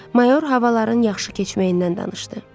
Mayor havaların yaxşı keçməyindən danışdı.